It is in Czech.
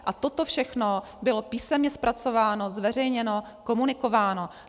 A toto všechno bylo písemně zpracováno, zveřejněno, komunikováno.